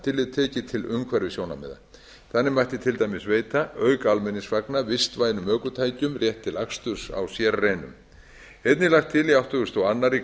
tillit tekið til umhverfissjónarmiða þannig mætti til dæmis veita auk almenningsvagna vistvænum ökutækjum rétt til aksturs á sérreinum einnig er lagt til í áttugasta og aðra